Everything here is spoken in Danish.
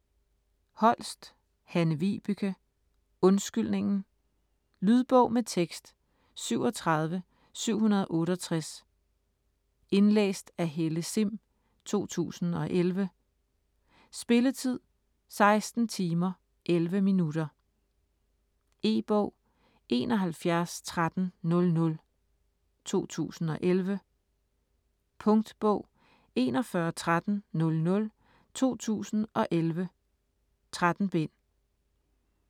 Holst, Hanne-Vibeke: Undskyldningen Lydbog med tekst 37768 Indlæst af Helle Sihm, 2011. Spilletid: 16 timer, 11 minutter. E-bog 711300 2011. Punktbog 411300 2011. 13 bind.